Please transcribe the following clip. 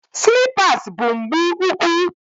Silipas bu mgbu úkwú